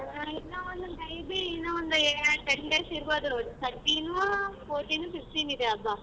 ಹ್ಮ್ ಇನ್ನ ಒಂದು may be ಇನ್ನ ಒಂದು ten days ಇರ್ಬೋದು thirteen fourteen fifteen ಇದೆ ಹಬ್ಬ.